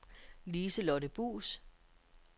Lise-Lotte Buus